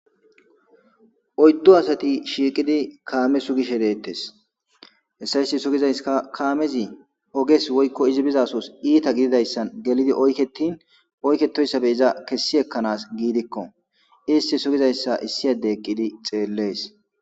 Oyddu asati shiiqidi kaame sugishe deettes. Hessa sugizayska kaamezi oges woykko izi bizasos iita gididayssan gelidi oyketin oykketoyssabe iza kessi ekkanas giidikko. Isti sugizayssa issi adde eqqidi xeellees.